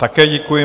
Také děkuji.